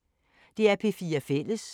DR P4 Fælles